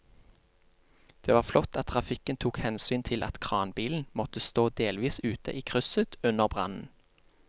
Det var flott at trafikken tok hensyn til at kranbilen måtte stå delvis ute i krysset under brannen.